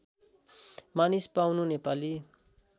मानिस पाउनु नेपाली